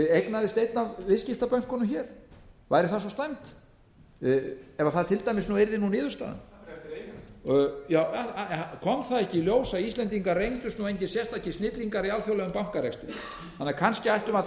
eignaðist einn af viðskiptabönkunum hér væri það svo slæmt ef það til dæmis yrði nú niðurstaðan kom það ekki í ljós að íslendar reyndust nú engir sérstakir snillingar í alþjóðlegum bankarekstri þannig að kannski ættum við að